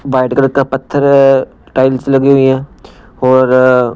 white colour का पत्थर tiles लगी हुई है और--